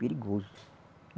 Perigoso.